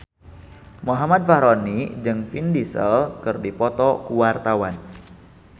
Muhammad Fachroni jeung Vin Diesel keur dipoto ku wartawan